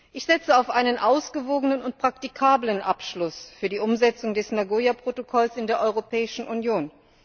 Ich setze auf einen ausgewogenen und praktikablen Abschluss für die Umsetzung des Nagoya Protokolls in der Europäischen Union.